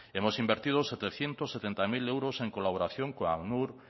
hemos invertido setecientos setenta mil euros en colaboración con acnur